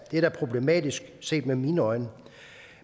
er problematisk set med mine øjne